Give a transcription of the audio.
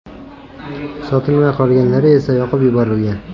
Sotilmay qolganlari esa yoqib yuborilgan.